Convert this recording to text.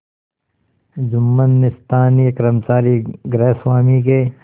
जुम्मन ने स्थानीय कर्मचारीगृहस्वामीके